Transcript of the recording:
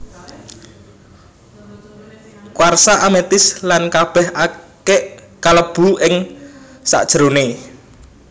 Kuarsa amethyst lan kabèh akik kalebu ing sajeroné